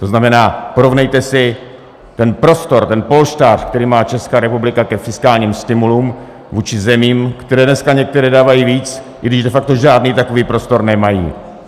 To znamená, porovnejte si ten prostor, ten polštář, který má Česká republika k fiskálním stimulům, vůči zemím, které dneska některé dávají víc, i když de facto žádný takový prostor nemají.